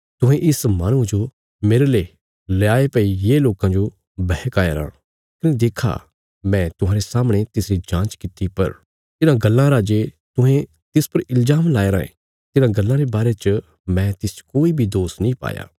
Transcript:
तुहें इस माहणुये जो मेरले ल्याये भई ये लोकां जो बहकाया राँ कने देक्खा मैं तुहांरे सामणे तिसरी जाँच कित्ती पर तिन्हां गल्लां रा जे तुहें तिस पर इल्जाम लाया रायें तिन्हां गल्लां रे बारे च मैं तिसच कोई बी दोष नीं पाया